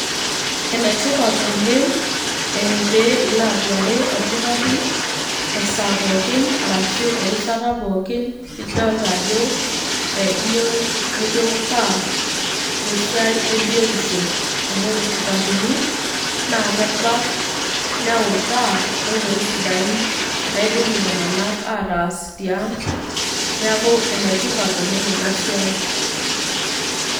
Enetipat oleng pee ilo aduare orkitarri, esaa pookin, arashu erishata pookin, nidolta ajo iyieu nikiutaa tesiai ebiotisho. Amu ore irkitaarrini, naa kebak, neutaa, nkoitoii sidain naidim iltung'anak ataas tiang',neeku enetipat oleng enasiai.